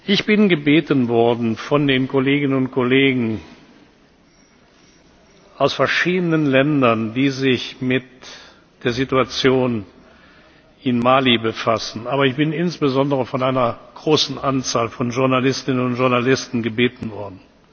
Ich bin von Kolleginnen und Kollegen aus verschiedenen Ländern, die sich mit der Situation in Mali befassen, aber insbesondere von einer großen Anzahl von Journalistinnen und Journalisten gebeten worden,